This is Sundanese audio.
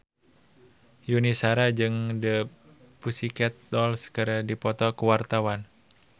Yuni Shara jeung The Pussycat Dolls keur dipoto ku wartawan